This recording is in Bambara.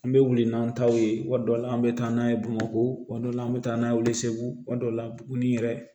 An bɛ wuli n'an taw ye tuma dɔw la an bɛ taa n'a ye bamakɔ dɔ la an bɛ taa n'a ye weleseugu ma dɔw la buguni yɛrɛ